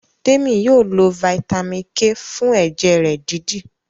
Temi yóò ló vitamin k fún ẹjẹ rẹ dídì.